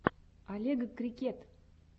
олегкрикет